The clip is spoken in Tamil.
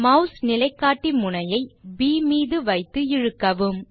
மாஸ் நிலைகாட்டி முனையை ப் மீது வைத்து இழுக்கவும்